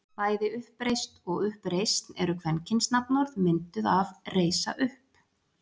Bæði uppreist og uppreisn eru kvenkynsnafnorð, mynduð af reisa upp.